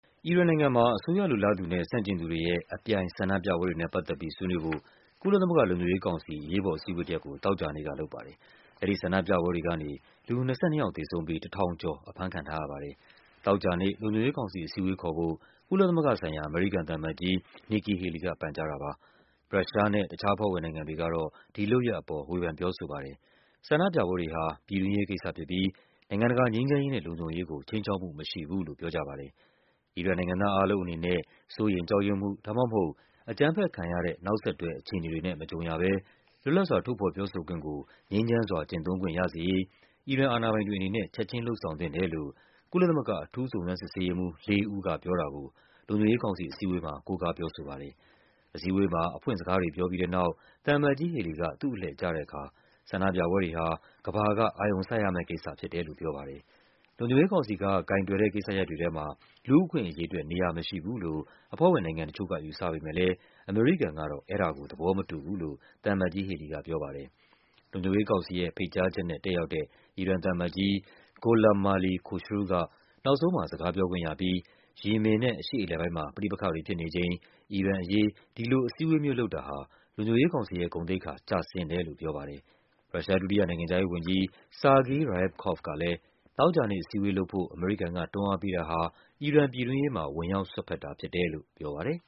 အီရန်နိုင်ငံမှာ အစိုးရလိုလားသူနဲ့ ဆန့်ကျင်သူတွေရဲ့ အပြိုင်ဆန္ဒပြပွဲတွေနဲ့ပတ်သက်ပြီး ဆွေးနွေးဖို့ ကုလသမဂ္ဂ လုံခြုံရေး ကောင်စီ အရေးပေါ်အစည်းအဝေးတရပ်ကို သောကြာနေ့ကလုပ်ပါတယ်။ အဲဒီဆန္ဒပြပွဲတွေကနေ လူ ၂၂ ယောက်သေဆုံးပြီး ၁၀၀၀ ကျော် အဖမ်းခံထားရပါတယ်။ သောကြာနေ့ လုံခြုံရေးကောင်စီအစည်းအဝေးခေါ်ဖို့ ကုလသမဂ္ဂဆိုင်ရာ အမေရိကန်သံအမတ်ကြီး Nikki Haley က ပန်ကြားတာ ပါ။ ရုရှားနဲ့ တခြားအဖွဲ့ဝင်နိုင်ငံတွေက ဒီလုပ်ရပ်အပေါ် ဝေဖန်ပြောဆိုပါတယ်။ ဆန္ဒပြပွဲတွေဟာ ပြည်တွင်းရေးကိစ္စဖြစ်ပြီး နိုင်ငံ တကာ ငြိမ်းချမ်းရေးနဲ့ လုံခြုံရေးကို ခြိမ်းခြောက်မှုမရှိဘူးလို့ ပြောကြပါတယ်။ အီရန်နိုင်ငံသားအားလုံးအနေနဲ့ စိုးရိမ်ကြောက်ရွံ့မှု ဒါမှမဟုတ် အကြမ်းဖက်ခံရတဲ့ နောက်ဆက်တွဲအခြေအနေတွေနဲ့ မကြုံရဘဲ လွတ်လပ်စွာ ထုတ်ဖော်ပြောဆိုခွင့်ကို ငြိမ်းချမ်းစွာကျင့်သုံးခွင့်ရစေရေး အီရန်အာဏာပိုင်တွေအနေနဲ့ ချက်ခြင်း လုပ်ဆောင်သင့် တယ်လို့ ကုလသမဂ္ဂ အထူးစုံစမ်းစစ်ဆေးရေးမှူး လေးဦးကပြောတာကို လုံခြုံရေးကောင်စီအစည်းအဝေးမှာ ကိုးကားပြောဆိုပါ တယ်။ အစည်းအဝေးမှာ အဖွင့်စကားတွေ ပြောပြီးတဲ့နောက် သံအမတ်ကြီး Haley က သူ့အလှည့်ကျတဲ့အခါ ဆန္ဒပြပွဲတွေဟာ ကမ္ဘာက အာရုံစိုက်ရမယ့်ကိစ္စဖြစ်တယ်လို့ ပြောပါတယ်။ လုံခြုံရေးကောင်စီက ကိုင်တွယ်တဲ့ကိစ္စရပ်တွေထဲမှာ လူ့အခွင့်အရေးအတွက် နေရာမရှိဘူးလို့ အဖွဲ့ဝင်နိုင်ငံတချို့က ယူဆပေမဲ့လဲ အမေရိကန်ကတော့ အဲဒါကို သဘောမတူဘူးလို့ သံအမတ်ကြီး Haley က ပြောပါတယ်။ လုံခြုံရေးကောင်စီရဲ့ဖိတ်ကြားချက်နဲ့ တက်ရောက်တဲ့ အီရန်သံအမတ်ကြီး Gholamali Khoshroo က နောက်ဆုံးမှာ စကားပြော ခွင့်ရပြီး ယီမင်နဲ့ အရှေ့အလယ်ပိုင်းမှာ ပဋိပက္ခတွေဖြစ်နေချိန် အီရန်အရေး ဒီလိုအစည်းအဝေးမျိုးလုပ်တာဟာ လုံခြုံရေးကောင်စီ ရဲ့ ဂုဏ်သိက္ခာကျဆင်းတယ်လို့ ပြောပါတယ်။ ရုရှားဒုတိယနိုင်ငံခြားရေးဝန်ကြီး Sergei Ryabkov ကလဲ သောကြာနေ့အစည်းအဝေးလုပ်ဖို့ အမေရိကန်က တွန်းအားပေးတာ ဟာ အီရန်ပြည်တွင်းရေးမှာ ဝင်ရောက်စွက်ဖက်တာဖြစ်တယ်လို့ ပြောပါတယ်